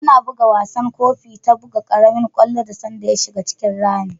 Ana bugan wasan Gofi ta buga karemin kwallo da sanda ya shiga cikin rami.